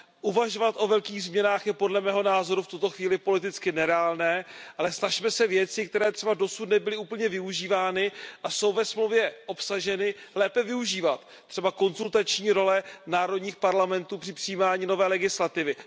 Uvažovat o velkých změnách je podle mého názoru v tuto chvíli politicky nereálné, ale snažme se věci, které třeba dosud nebyly úplně využívány a jsou ve Smlouvě obsaženy, lépe využívat. Třeba konzultační role národních parlamentů při přijímání nové legislativy.